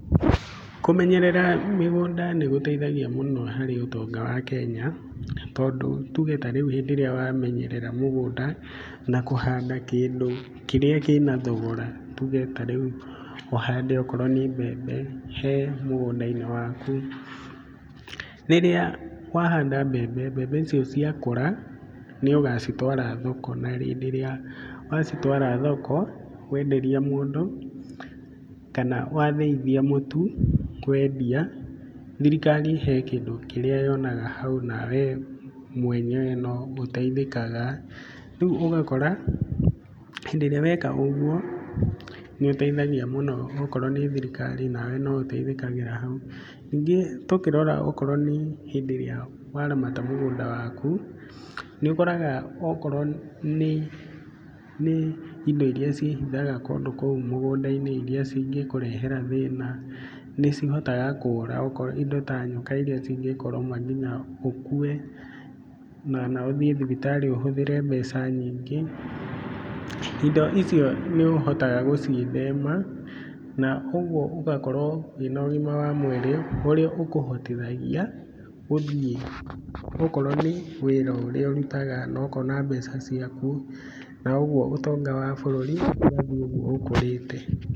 Kũmenyerera mĩgũnda nĩ gũteithagia mũno harĩ ũtonga wa Kenya tondũ nĩ tuge tarĩu rĩrĩa wamenyerera mũgũnda na kũhanda kĩndũ kĩrĩa kĩna thogora nĩ tuge ta rĩu ũhande okorwo nĩ mbembe he mũgũnda-inĩ waku. Rĩrĩa wahanda mbembe, mbe ici ciakũra nĩ ũgacitwara thoko na hĩndĩ ĩrĩa wacitwara thoko wenderia mũndũ kana wathĩithia mũtu, wendia thirikari he kĩndũ kĩrĩa yonaga hau nawe mwenyewe no ũteithĩkaga. Rĩu ũgakora hĩndĩ ĩrĩa weka ũguo nĩ ũteithagia mũno okorwo nĩ thirikari onawe no ũteithĩkagĩra hau. Ningĩ tũkĩrora tokorwo nĩ hĩndĩ ĩrĩa waramata mũgũnda waku nĩ ũkoraga okorwo nĩ indo iria ciĩhithaga kũndũ kũu mũgũnda-inĩ iria cingĩkũrehera thĩna nĩ cihotaga kũra indo ta nyoka iria cingĩkũrũma nginya ũkue kana ũthiĩ thibitarĩ ũhũthĩre mbeca nyingĩ. Indo icio nĩ ũhotaga gũciĩthema na ũguo ũgakorwo wĩna ũgima wa mwĩrĩ ũrĩa ũkũhotithagia gũthiĩ, okorwo nĩ wĩra ũrĩa ũrutaga na ũkona mbeca ciaku na ũguo ũtonga wa bũrũri ũgathiĩ ũguo ũkũrĩte.